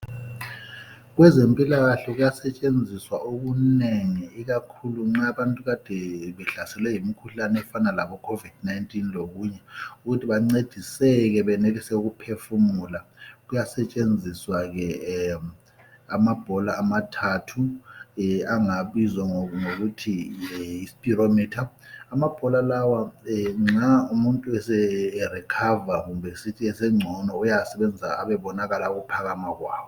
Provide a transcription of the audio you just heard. Kwezempilakhle kuya setshenziswa okunengi ikakhulu nxa abantu kade behlaselwe yimkhuhlane efana labo Covid19 lokunye ukuthi bancediseke ukuphefumula. Kuyasetshenziswa amabhola amathathu angabizwa ngokuthi yirespiromitha, amabhola lawa nxa umuntu eserikhava kumbe sithi sengcono uyawasebenzisa ebebonakala ukuphakama kwawo.